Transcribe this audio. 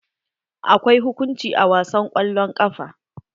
Akwai hukunci a wasan kwallon ƙafa.